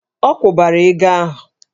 Ọ kwụbara ego ahụ!